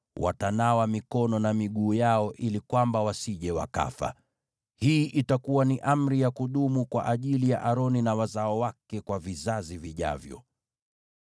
watanawa mikono na miguu yao ili kwamba wasije wakafa. Hii itakuwa ni amri ya kudumu kwa ajili ya Aroni na wazao wake kwa vizazi vijavyo.”